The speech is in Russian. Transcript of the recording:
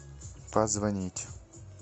позвонить